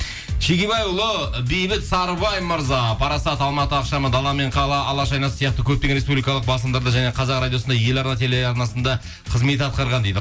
шегебайұлы бейбіт сарыбай мырза парасат алматы ақшамы дала мен қала алаш айнасы сияқты көптеген республикалық басылымдарда және қазақ радиосында еларна телеарнасында қызмет атқарған дейді